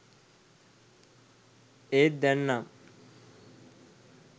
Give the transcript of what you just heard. ඒත් දැන් නම්